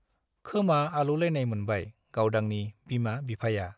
खोमा आलौलायनाय मोनबाय गावदांनि बिमा - बिफाया ।